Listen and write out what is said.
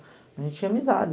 A gente tinha amizade.